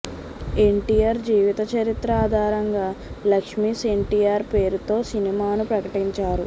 ఎన్టీఆర్ జీవిత చరిత్ర ఆధారంగా లక్ష్మీస్ ఎన్టీఆర్ పేరుతో సినిమాను ప్రకటించారు